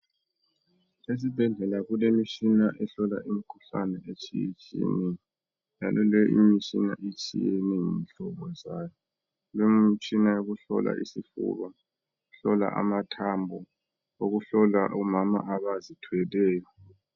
Esibhedlela kulemitshina ehlola imikhuhlane etshiyetshiyeneyo; njalo lemitshina itshiyene kulemitshina yokuhlola isifuba, eyokuhlola amathambo, eyokuhlola omama abazithweleyo.